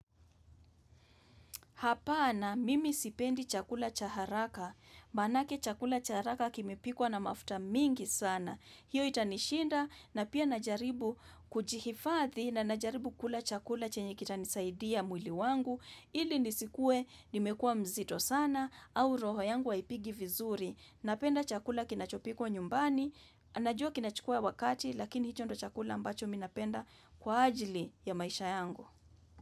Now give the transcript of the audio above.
Hapana, mimi sipendi chakula cha haraka, manake chakula cha haraka kimepikwa na mafuta mingi sana. Hiyo itanishinda na pia najaribu kujihifathi na najaribu kula chakula chenye kitanisaidia mwili wangu, ili nisikue nimekua mzito sana au roho yangu aipigi vizuri. Napenda chakula kinachopikwa nyumbani, najua kinachukua wakati lakini hicho ndicho chakula ambacho minapenda kwa ajili ya maisha yangu.